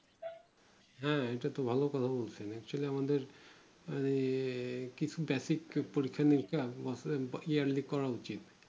হ্যাঁ এটাতো ভালো কথা বলেছেন actually আমাদের আঃ কিছু basic পরীক্ষা নিরীক্ষা আছে yearly করা উচিত